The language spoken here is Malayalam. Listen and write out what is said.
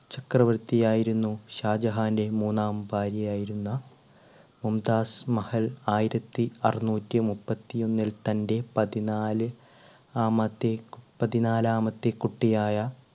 ചക്രവർത്തി ആയിരുന്നു. ഷാജഹാന്റെ മൂന്നാം ഭാര്യയായിരുന്ന മുംതാസ് മഹൽ ആയിരത്തി അറുനൂറ്റി മുപ്പത്തി ഒന്നിൽ തന്റെ പതിനാല് ആമത്തെ പതിനാലാമത്തെ കുട്ടിയായ